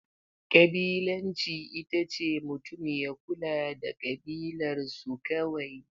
Ƙabilanci ita ce mutum ya kula da kabilarsu kawai.